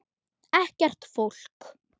Ekkert fólk.